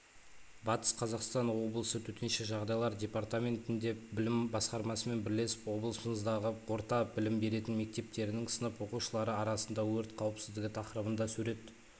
батыс қазақстан облысы төтенше жағдайлар департаментінде білім басқармасымен бірлесіп облысымыздың орта білім беретін мектептерінің сынып оқушылары арасында өрт қауіпсіздігі тақырыбында сурет